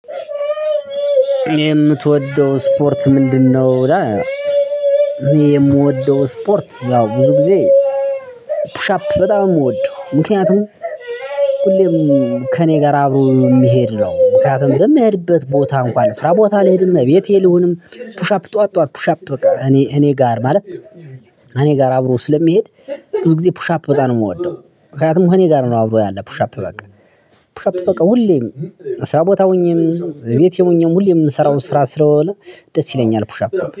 የምትወደው ስፖርት ምንድነው? እኔ የምወደው ስፖርት ያው ብዙ ጊዜ ኩሽ አፕ በጣም ነው የምወድ ምክኔቱም። ሁሌም ከእኔ ጋር አብሮ የሚሄድ ነው። ምክንያቱም በሚሄድበት ቦታ እንኳን ስራ ቦታ ልሄድም እቤቴም ልሁንም ፑሻፕ ጠዋት ጠዋት ፑሽ አፕ በቃ እኔ እኔ ጋር ማለት እኔ ጋር አብሮ ስለሚሄድ ብዙ ጊዜ ፑሽ አፕ በጣም ነው የምወደው። ምክንያቱም እኔ ጋር ነው አብሮ ያለ ፑሽ አፕ በቃ። ፑሽ አፕ በቃ ሁሌ ነው እስራቦታሁኘም እቤቴም ሁኜም ሁሌ እምሰራው ስራ ስለሆነ ደስ ይለኛል ፑሽ አፕ